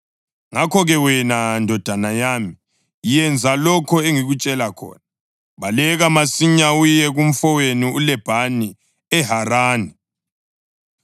Ngakho-ke wena ndodana yami, yenza lokho engikutshela khona: Baleka masinyane uye kumfowethu uLabhani eHarani.